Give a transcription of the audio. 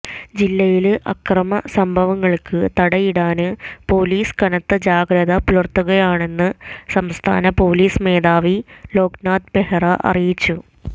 ജില്ലയില് അക്രമ സംഭവങ്ങള്ക്ക് തടയിടാന് പോലീസ് കനത്ത ജാഗ്രത പുലര്ത്തുകയാണെന്ന് സംസ്ഥാന പോലീസ് മേധാവി ലോക്നാഥ് ബെഹ്റ അറിയിച്ചു